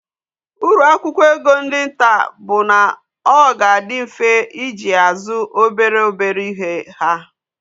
Uru akwukwo ego ndi nta bu na oga adi mfe iji ya azu obere obere ihe ha